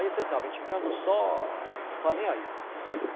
Aí você sabe, a gente ficando só, não está nem aí.